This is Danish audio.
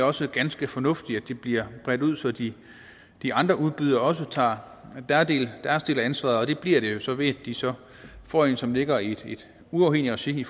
også ganske fornuftigt at det bliver bredt ud så de de andre udbydere også tager deres del af ansvaret det bliver det jo så ved at de så får en som ligger i et uafhængigt regi i